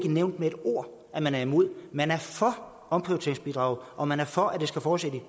nævnt med et ord at man er imod man er for omprioriteringsbidraget og man er for at det skal fortsætte i